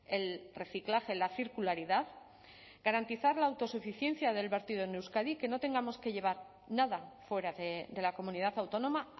el reciclaje la circularidad garantizar la autosuficiencia del vertido en euskadi que no tengamos que llevar nada fuera de la comunidad autónoma